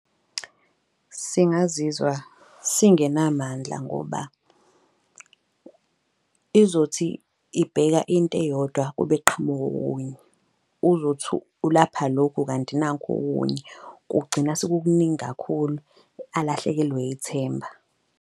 Singazizwa singenamandla ngoba izothi ibheka into eyodwa kube kuqhamuka okunye. Uzothu ulapha lokhu kanti nanku okunye kugcina sekukuningi kakhulu, alahlekelwe ithemba.